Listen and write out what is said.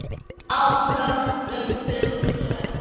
Átök um hugtök.